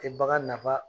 Tɛ bagan nafa